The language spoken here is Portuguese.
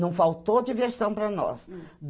Não faltou diversão para nós.